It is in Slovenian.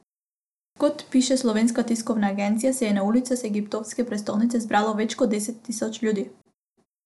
Kot piše Slovenska tiskovna agencija, se je na ulicah egiptovske prestolnice zbralo več kot deset tisoč ljudi.